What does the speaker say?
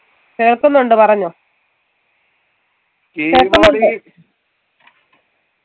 കേൾക്കുന്നുണ്ട് പറഞ്ഞോ